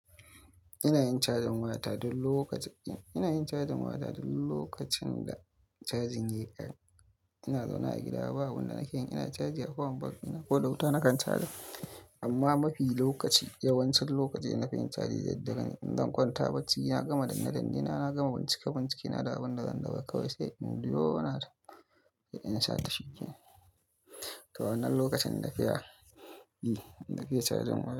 Ina yin cajin waya ta duk lokacin da cajin ya kare. Ina zaune a gida, ba abun nake yi ina caji a power bank dina ko da wuta nakan caja. Amma mafi lokaci yawancin lokaci ina fin cajin da daddare. In zan kwanta bacci, na gama danne danne na gama bincike-bincike na da abin da zan dauka kawa sai in biyo na ta in sha ta shikenan. To wannan lokacin da ke ya, hm, nake cajin waya.